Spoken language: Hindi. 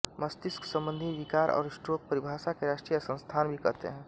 मस्तिष्क संबंधी विकार और स्ट्रोक परिभाषा के राष्ट्रीय संस्थान भी कहते हैं